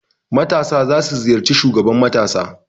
Matasa za su ziyarci shugaban matasa.